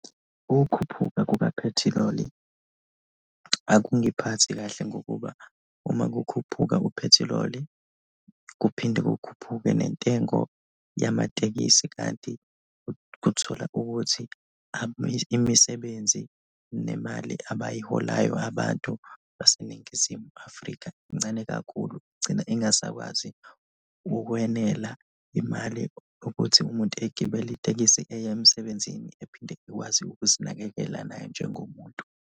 Ukukhuphuka kukaphethiloli akungiphathi kahle ngokuba uma kukhuphuka uphethiloli, kuphinde kukhuphuke nentengo yamatekisi kanti uthola ukuthi imisebenzi nemali abayiholayo abantu baseNingizimu Afrika incane kakhulu, igcina ingasakwazi ukwenela imali ukuthi umuntu egibele itekisi eye emsebenzini ephinde ekwazi ukuzinakekela naye njengomuntu.